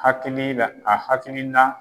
Hakilii la a hakilina